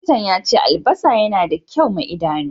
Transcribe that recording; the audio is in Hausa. Likintan ya ce albassa yana da kyau ma Idanu.